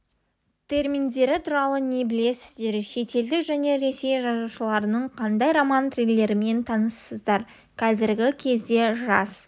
терминдері туралы не білесіздер шетелдік және ресей жазушыларының қандай роман триллерімен таныссыздар қазіргі кезде жас